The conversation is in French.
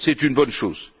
C'est une bonne chose.